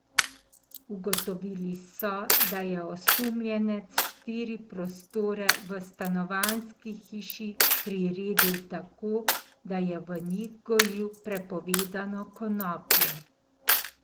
Ugotovili so, da je osumljenec štiri prostore v stanovanjski hiši priredil tako, da je v njih gojil prepovedano konopljo.